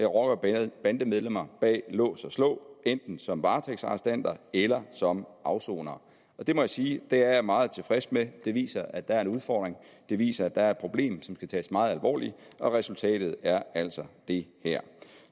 rocker og bandemedlemmer bag lås og slå enten som varetægtsarrestanter eller som afsonere det må jeg sige at jeg er meget tilfreds med det viser at der er en udfordring det viser at der er et problem som skal tages meget alvorligt og resultatet er altså det her